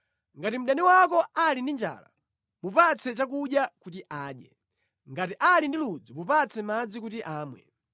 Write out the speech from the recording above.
Ngati mdani wako ali ndi njala, mupatse chakudya kuti adye; ngati ali ndi ludzu mupatse madzi kuti amwe.